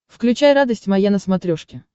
включай радость моя на смотрешке